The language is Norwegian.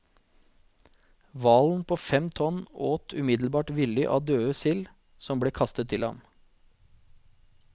Hvalen på fem tonn åt umiddelbart villig av døde sild som ble kastet til ham.